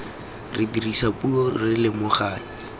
re dirisa puo re lomaganya